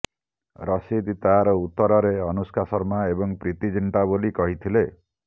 ରଶିଦ ତାର ଉତ୍ତରରେ ଅନୁଷ୍କା ଶର୍ମା ଏବଂ ପ୍ରୀତି ଜିଣ୍ଟା ବୋଲି କହିଥିଲେ